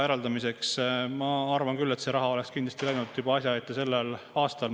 Ma arvan, et see raha oleks kindlasti läinud asja ette sellel aastal.